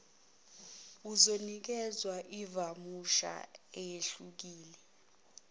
uzonikwezwa ivawusha eyehlukile